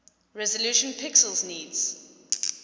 resolution pixels needs